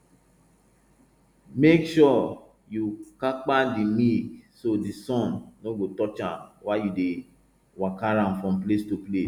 make sure you kapa di milk so di sun no go touch am while you dey waka am from place to place